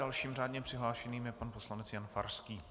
Dalším řádně přihlášeným je pan poslanec Jan Farský.